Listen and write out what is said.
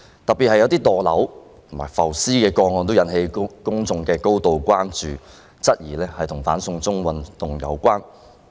當中有一些墮樓及浮屍個案，更引起公眾的高度關注，質疑與"反送中"運動有關。